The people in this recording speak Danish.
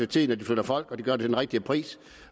tiden flytter folk og gør det til den rigtige pris